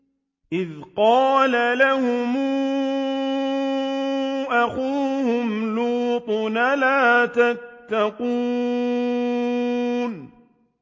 إِذْ قَالَ لَهُمْ أَخُوهُمْ لُوطٌ أَلَا تَتَّقُونَ